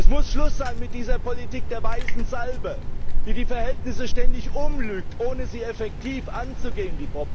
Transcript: Es muss Schluss sein mit dieser Politik der weißen Salbe, die die Verhältnisse ständig umlügt, ohne die Probleme effektiv anzugehen.